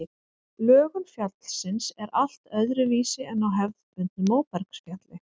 Lögun fjallsins er allt öðruvísi en á hefðbundnu móbergsfjalli.